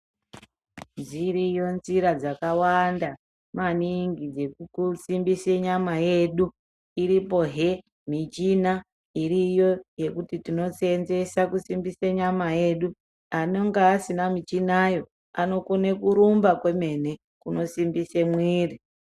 Dziriyo njira dzakawanda maningi dzeku simbise nyama yemu iripo he michina iriyo yekuti tino senzese kusimbisa nyama yedu anonga asina michinayo anokona kurumba kwemene kuno simbise mwiri.